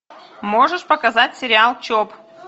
можешь показать сериал чоп